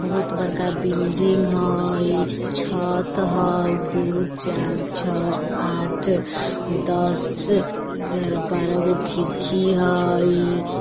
बहुत बड़का बिल्डिंग हय छत हय दु चार छ आठ दस ग्यारह बारह गो खिड़की हय।